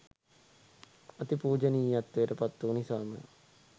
අති පූජනීයත්වයට පත් වූ නිසාම